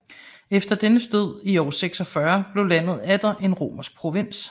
Efter dennes død år 46 blev landet atter en romersk provins